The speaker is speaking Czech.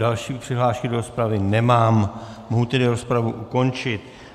Další přihlášky do rozpravy nemám, mohu tedy rozpravu ukončit.